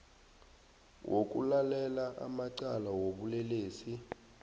wokulalela amacala wobulelesi